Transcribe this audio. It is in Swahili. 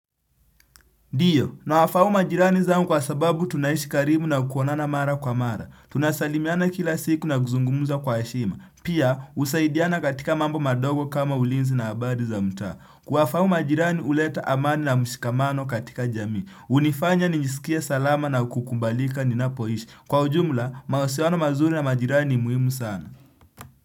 Ndiyo, nawafahamu majirani zangu kwa sababu tunaishi karibu na kuonana mara kwa mara. Tunasalimiana kila siku na kuzungumza kwa heshima. Pia, husaidiana katika mambo madogo kama ulinzi na habari za mtaa. Kuwafahamu majirani, huleta amani na mshikamano katika jamii. Hunifanya, nijisikie salama na kukubalika ninapoishi. Kwa ujumla, mahusiano mazuri na majirani ni muhimu sana.